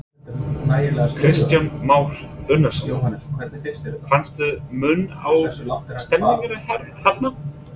Kristján Már Unnarsson: Fannstu mun á stemningunni hérna?